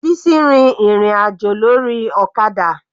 Bisi rin ìrìn àjò lórí ọ̀kadà.